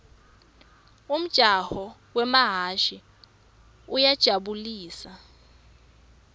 umjaho wemahhashi uyajabu lisa